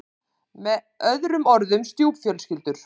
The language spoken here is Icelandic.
Með öðrum orðum stjúpfjölskyldur.